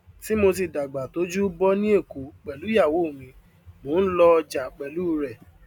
tí mo ti dàgbàtọjú bọ ní èkó pẹlu ìyàwó mi mo ń lọ ọjà pẹlu rẹ